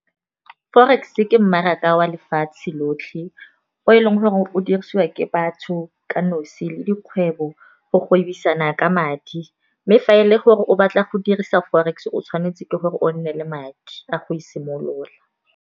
Forex-e ke mmaraka wa lefatshe lotlhe o e leng gore o dirisiwa ke batho ka nosi, le dikgwebo go gwebisana ka madi. Mme fa e le gore o batla go dirisa forex, o tshwanetse ke gore o nne le madi a go e simolola.